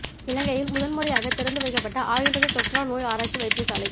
இலங்கையில் முதன் முறையாக திறந்து வைக்கப்பட்ட ஆயுர்வேத தொற்றா நோய் ஆராய்ச்சி வைத்தியசாலை